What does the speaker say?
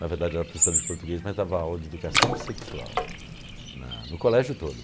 Na verdade, ela era professora de português, mas dava aula de educação sexual na no colégio todo.